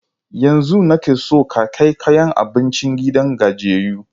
Yanzun nake son ka kai kayan abincin gidan gajiyayyu.